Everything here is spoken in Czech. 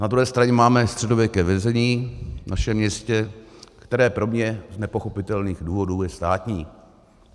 Na druhé straně máme středověké vězení v našem městě, které z pro mě nepochopitelných důvodů je státní.